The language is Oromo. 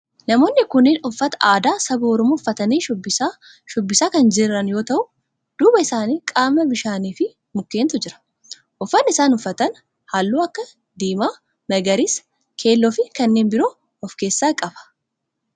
Namoonni kunneen uffata aadaa saba oromoo uffatanii shubbisa shubbisaa kan jiran yoo ta'u, duuba isaanii qaama bishaanii fi mukkeentu jira. Uffanni isaan uffatan halluu akka diimaa, magariisa, keelloo fi kanneen biroo of keessaa qaba.